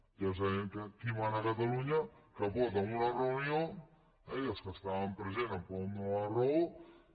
ja sabem qui mana a catalunya que pot en una reunió i els que hi estaven presents em poden donar la raó